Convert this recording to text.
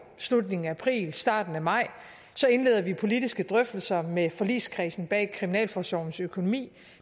slutningen af april starten af maj så indleder vi politiske drøftelser med forligskredsen bag kriminalforsorgens økonomi